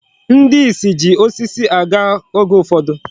Ndị isi ji osisi aga oge ụfọdụ.